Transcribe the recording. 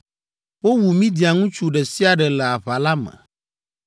Wowu Midian ŋutsu ɖe sia ɖe le aʋa la me.